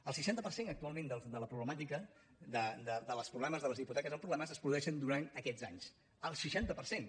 el seixanta per cent actualment de la problemàtica de les hipoteques amb problemes es produeix durant aquests anys el seixanta per cent